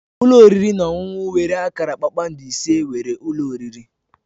Ụlọ oriri na ọṅụṅụ nwere akara kpakpando ise nwere ụlọ oriri.